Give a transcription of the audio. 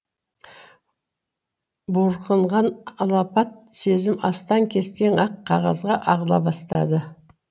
буырқанған алапат сезім астаң кестең ақ қағазға ағыла бастады